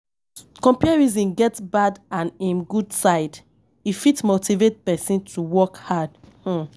Comparison get bad and um good side, e fit motivate person to work hard um